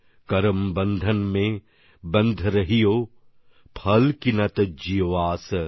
করম বন্ধন মে বন্ধ রহিও ফল কি না তজ্জীও আস